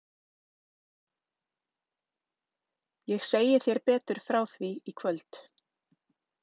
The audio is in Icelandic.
Ég segi þér betur frá því í kvöld.